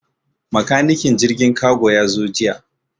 Makanikin jirgin kago ya zo jiya.